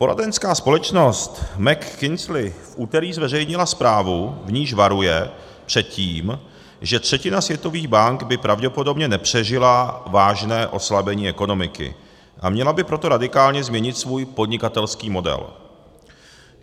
Poradenská společnost McKinsey v úterý zveřejnila zprávu, v níž varuje před tím, že třetina světových bank by pravděpodobně nepřežila vážné oslabení ekonomiky, a měla by proto radikálně změnit svůj podnikatelský model.